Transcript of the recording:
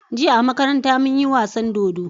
Jiya a makaranta munyi wasan dodo